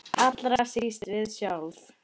Allra síst við sjálf.